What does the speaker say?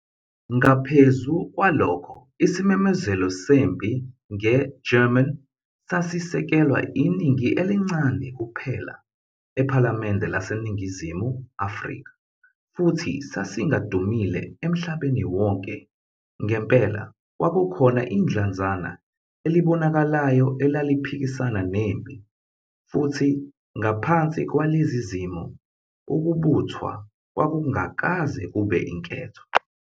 Ngaphezu kwalokho isimemezelo sempi ngeGerman sasisekelwa iningi elincane kuphela ephalamende laseNingizimu Afrika futhi sasingadumile emhlabeni wonke. Ngempela, kwakukhona idlanzana elibonakalayo elaliphikisana nempi futhi ngaphansi kwalezi zimo ukubuthwa kwakungakaze kube inketho.